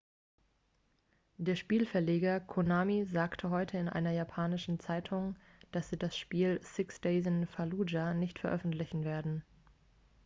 der spielverleger konami sagte heute in einer japanischen zeitung dass sie das spiel six days in fallujah nicht veröffentlichen werden